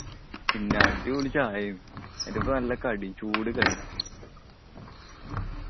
പിന്നെ അടിപൊളി ചായ ആണ്. അയിന്റെ അപ്പം നല്ല കടി ചൂട് കടി.